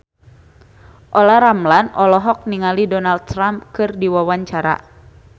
Olla Ramlan olohok ningali Donald Trump keur diwawancara